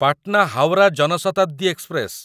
Patna Howrah Jan Shatabdi express